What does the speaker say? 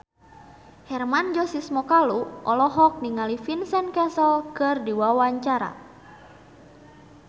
Hermann Josis Mokalu olohok ningali Vincent Cassel keur diwawancara